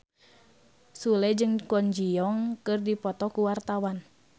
Sule jeung Kwon Ji Yong keur dipoto ku wartawan